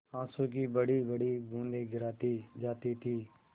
आँसू की बड़ीबड़ी बूँदें गिराती जाती थी